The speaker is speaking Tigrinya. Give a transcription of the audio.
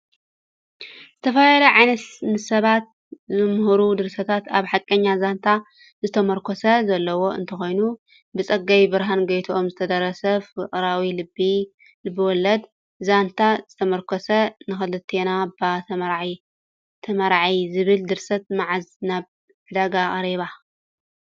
ዝተፈላለዩ ዓይነት ንስባት ዘምህሩ ድርሰታት አብ ሓቀኛ ዛንታ ዝተሞርከሰ ዘለዎ እንትኮኑ ብፀጋብርሃን ጎይቶኦም ዝትደረሰ ፍቅራዊ ልብ ወለደ ዛንታ ዝተሞርከሰ ንክልቴና ባ ተመርዖ ዝብል ድርሰት መዓዝ ናብ ዕዳጋ ቀሪባ?